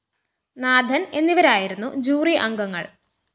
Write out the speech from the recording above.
നാഥന്‍ എന്നിവരായിരുന്നു ജൂറി അംഗങ്ങള്‍